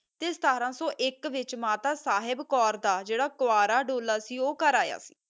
ਸਤਰ ਸੋ ਅਖ ਵਿਤਚ ਮਾਤਾ ਸਾਹਿਬ ਕੋਰ ਦਾ ਕੋਵਾਰਾ ਡੋ